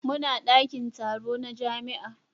Muna dakin taro na jami'a.